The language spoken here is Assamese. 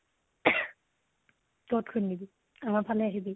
কʼত খুন্দিবি, আমাৰ ফালে আহিবি